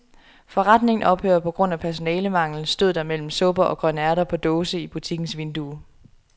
Forretningen ophører på grund af personalemangel, stod der mellem supper og grønærter på dåse i butikkens vindue.